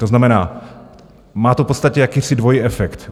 To znamená, má to v podstatě jakýsi dvojí efekt.